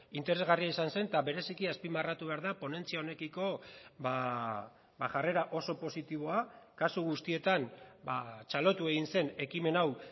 interesgarria izan zen eta bereziki azpimarratu behar da ponentzia honekiko jarrera oso positiboa kasu guztietan txalotu egin zen ekimen hau